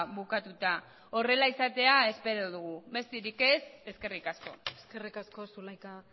bukatuta horrela izatea espero dugu besterik ez eskerrik asko eskerrik asko zulaika